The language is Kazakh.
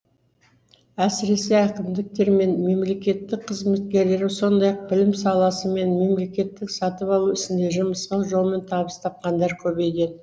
әсіресе әкімдіктер мен мемлекеттік қызметкерлер сондай ақ білім саласы мен мемлекеттік сатып алу ісінде жымысқы жолмен табыс табқандар көбейген